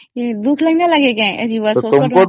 କାଟି ଦିଏ ବୋଲି ଦୁଃଖ ଲାଗେ